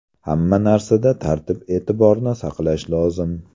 Hamma narsada tartib-e’tiborni saqlash lozim.